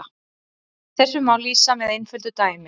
Þessu má lýsa með einföldu dæmi.